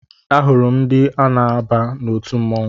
Ahụrụ m ndị na-aba n'otu mmọnwụ